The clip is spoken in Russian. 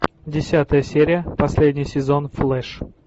десятая серия последний сезон флэш